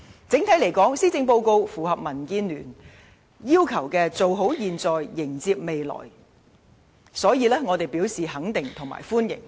整體而言，施政報告符合民建聯"做好現在、迎接未來"的要求，我們表示肯定和歡迎。